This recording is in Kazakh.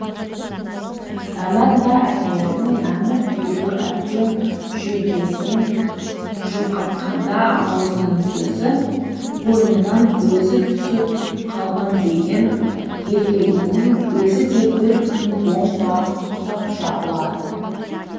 әмәнда әйелінің әмір беруі әбден жүйкесін жұқартқанда аузынан сөзі қойнынан бөзі түсіп қалған деген еркегіңнің өзі де бір күн бомба құсап жарылады